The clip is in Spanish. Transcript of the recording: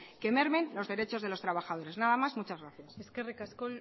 que mermen los derechos de los trabajadores nada más muchas gracias eskerrik asko